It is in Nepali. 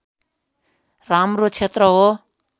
राम्रो क्षेत्र हो